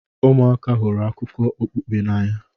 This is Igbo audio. ụmụaka hụrụ akụkọ okpukpe n'anya